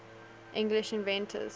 english inventors